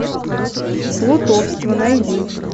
плутовство найди